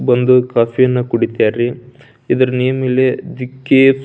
ಬಂದು ಕಾಫೀಯನ್ನ ಕುಡಿತರ್ ರೀ ಇದರ್ ನೇಮ್ ಇಲ್ಲಿ ದಿಕ್ಕೇ --